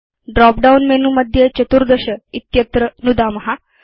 drop down menu मध्ये 14 इत्यत्र नुदाम